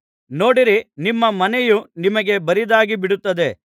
ನೋಡಿರಿ ನಿಮ್ಮ ಮನೆಯು ನಿಮಗೆ ಬರಿದಾಗಿ ಬಿಡುತ್ತದೆ